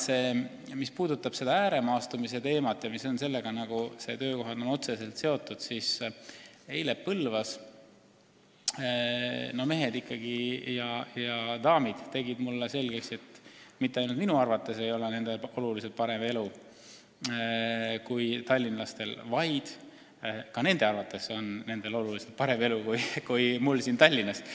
Mis puudutab ääremaastumiste teemat – ja töökohad on sellega otseselt seotud –, siis eile Põlvas mehed ja daamid tegid mulle selgeks, et mitte ainult minu arvates ei ole nendel oluliselt parem elu kui tallinlastel, vaid ka nende arvates on nendel oluliselt parem elu kui meil siin Tallinnas.